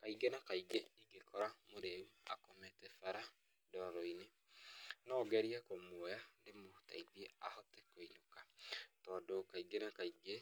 Kaingĩ na kaingĩ ingĩkora mũrĩu akomete bara ndoro-inĩ no ngerie kũmũoya ndĩmũteithie kũinũka tondu kaingĩ na kaingĩ